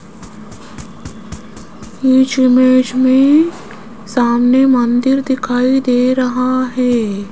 इस इमेज में सामने मंदिर दिखाई दे रहा है।